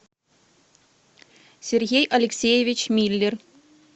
сергей алексеевич миллер